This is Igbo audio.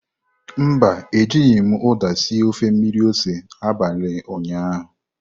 Mba, Ejighị m uda sie ofe mmiri ose n'abalị ụnyaahụ.